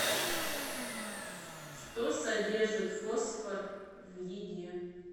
что содержит фосфор в еде